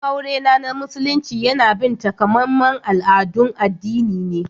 Bikin aure na Musulunci yana bin takamaiman al'adun addini ne.